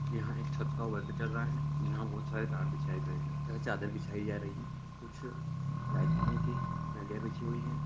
यहाँ एक छत का वर्क चल रहा है जहाँ बहोत सारे तार बिछाए गए हैं तथा चादर बिछाई जा रही कुछ लाइट फिटिंग की नलिया बिछी हुई है।